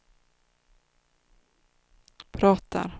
pratar